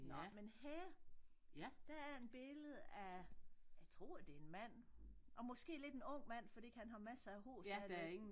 Nåh men her der er en billede af jeg tror det mand og måske lidt en ung mand fordi han har massere af hår stadigvæk